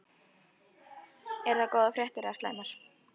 Eru það góðar fréttir eða slæmar?